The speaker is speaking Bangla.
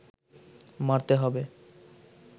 মারতে হবে